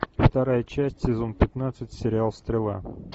вторая часть сезон пятнадцать сериал стрела